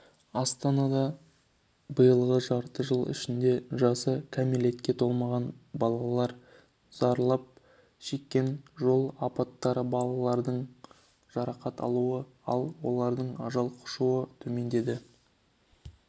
астанада биылғы жарты жыл ішінде жасы кәмелетке толмаған балалар зардап шеккен жол апаттары балалардың жарақат алуы ал олардың ажал құшуы төмендеді